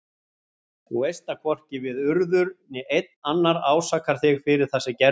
Þú veist að hvorki við Urður né neinn annar ásakar þig fyrir það sem gerðist.